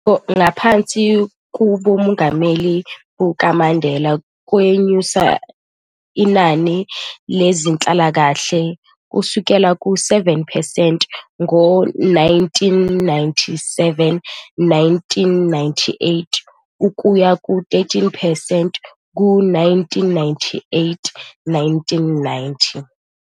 Ngaphansi koboNgameli bukaMandela, kwanyusa inani lezenhlalakahle ukusukela ku 7 percent ngo-1997, 1998 ukuya ku 13 percent ku-1998, 1999.